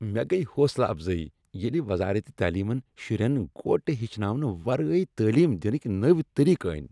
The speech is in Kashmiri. مےٚ گیہ حوصلہٕ افضٲیی ییلہِ وزارت تعلیمن شُرین گوٹہٕ ہیٚچھناونہٕ ورٲے تعلیٖم دِنٕکۍ نٔوۍ طٔریٖقہٕ أنۍ۔